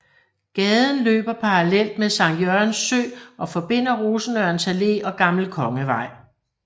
Gaden løber parallelt med Sankt Jørgens Sø og forbinder Rosenørns Allé og Gammel Kongevej